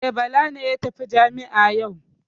E, Bala ne ya tafi jami'a yau.